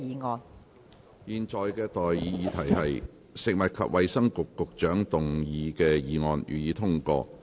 我現在向各位提出的待議議題是：食物及衞生局局長動議的議案，予以通過。